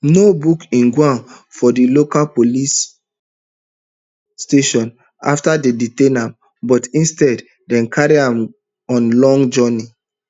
no book ojwang for di local local police station afta dem detain am but instead dem carry am on long journey